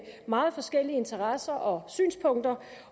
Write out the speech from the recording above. meget forskellige interesser og synspunkter